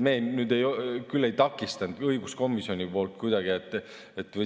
Me küll ei takistanud õiguskomisjoni poolt seda kuidagi,